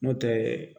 N'o tɛ